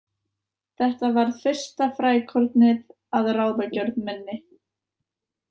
Þetta varð fyrsta frækornið að ráðagjörð minni.